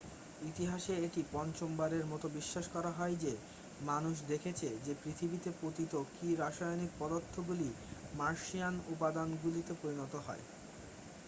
ইতিহাসে এটি পঞ্চমবারের মতো বিশ্বাস করা হয় যে মানুষ দেখেছে যে পৃথিবীতে পতিত কি রাসায়নিক পদার্থগুলি মার্শিয়ান উপাদানগুলিতে পরিণত হয়